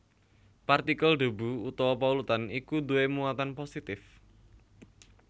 Partikel debu utawa polutan iku duwé muatan positif